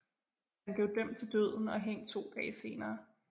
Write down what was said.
Han blev dømt til døden og hængt to dage senere